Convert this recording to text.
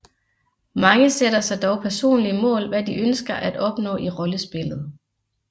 Mange sætter sig dog personlige mål hvad de ønsker at opnå i rollespillet